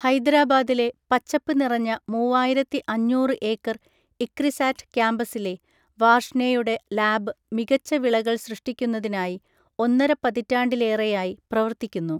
ഹൈദരാബാദിലെ പച്ചപ്പ് നിറഞ്ഞ മൂവായിരത്തി അഞ്ഞൂറ് ഏക്കർ ഇക്രിസാറ്റ് കാമ്പസിലെ, വാർഷ്നെയുടെ ലാബ് മികച്ച വിളകൾ സൃഷ്ടിക്കുന്നതിനായി, ഒന്നര പതിറ്റാണ്ടിലേറെയായി പ്രവർത്തിക്കുന്നു.